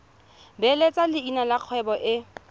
beeletsa leina la kgwebo e